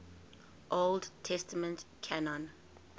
old testament canon